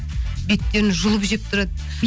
беттерін жұлып жеп тұрады